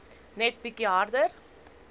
net bietjie harder